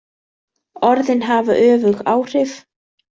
Orðin hafa öfug áhrif.